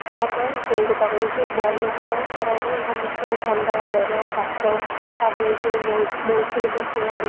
ହଁ ବା ମୁଁ ସେଇକଥା କହୁଛି ଭଲ କଣ? ଖରାପ ସମସ୍ତଙ୍କୁ ଥଣ୍ଡାଜ୍ୱର